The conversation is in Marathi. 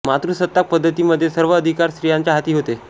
मातृसत्ताक पद्धती मध्ये सर्व अधिकार स्र्तीयांच्या हाती होते